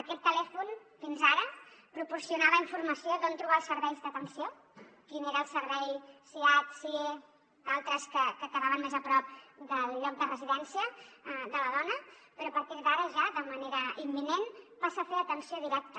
aquest telèfon fins ara proporcionava informació d’on trobar els serveis d’atenció quin era el servei siad sie d’altres que quedaven més a prop del lloc de residència de la dona però a partir d’ara ja de manera imminent passa a fer atenció directa